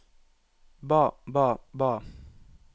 ba ba ba